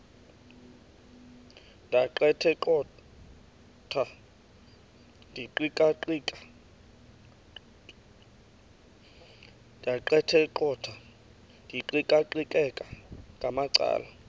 ndaqetheqotha ndiqikaqikeka ngamacala